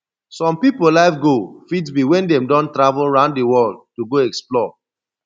some pipo life goal fit be when dem don travel round di world to go explore